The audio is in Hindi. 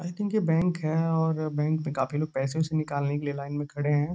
आई थिंक ये बैंक है और बैंक में काफ़ी लोग पैसे वैसे निकालने के लिए लाइन में खड़े हैं।